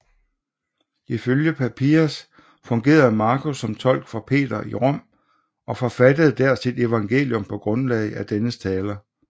Ifølge Papias fungerede Markus som tolk for Peter i Rom og forfattede der sit evangelium på grundlag af dennes taler